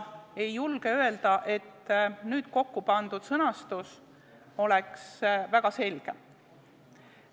Ei julge öelda, et nüüd kokkupandud sõnastus oleks väga selge.